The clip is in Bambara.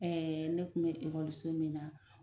Ɛɛ ne tun bɛ ekɔliso min na